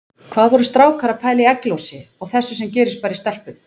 Hvað voru strákar að pæla í egglosi og þessu sem gerist bara í stelpum!